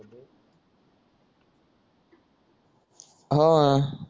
अह हो ना